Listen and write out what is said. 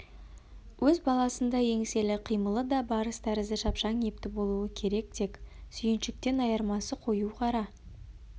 өз баласындай еңселі қимылы да барыс тәрізді шапшаң епті болуы керек тек сүйіншіктен айырмасы қою қара